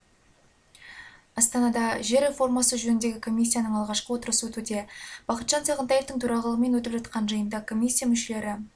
астанада жер реформасы жөніндегі комиссияның алғашқы отырысы өтуде бақытжан сағынтаевтың төрағалығымен өтіп жатқан жиында комиссия мүшелері